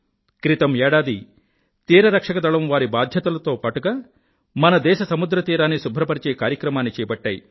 క్రితం ఏడాది తీరరక్షక దళం వారి బాధ్యతలతో పాటుగా మన దేశ సముద్రతీరాన్ని శుభ్రపరిచే కార్యక్రమాన్ని చేపట్టాయి